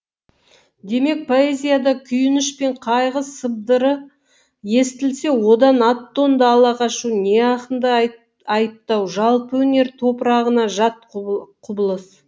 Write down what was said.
демек поэзияда күйініш пен қайғы сыбдыры естілсе одан ат тонды ала қашу не ақынды айыптау жалпы өнер топырағына жат құбылыс